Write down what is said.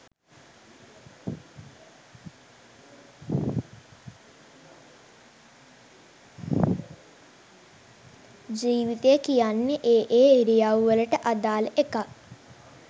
ජීවිතය කියන්නෙ ඒ ඒ ඉරියව්වවලට අදාළ එකක්